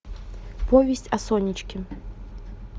повесть о сонечке